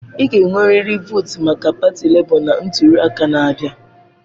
Ị ga-enwerịrị votu maka pati Lebo na ntuli aka na-abịa!